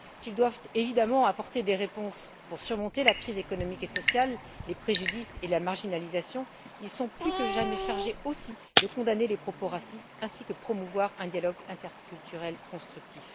S'ils doivent évidemment apporter des réponses pour surmonter la crise économique et sociale, les préjudices et la marginalisation, ils sont plus que jamais chargés aussi de condamner les propos racistes ainsi que de promouvoir un dialogue interculturel constructif.